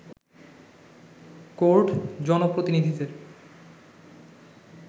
court জনপ্রতিনিধিদের